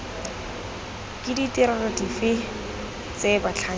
ke ditirelo dife tse batlhankedi